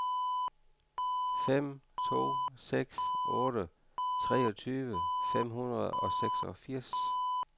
fem to seks otte treogtyve fem hundrede og seksogfirs